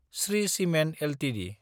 Shri cement Ltd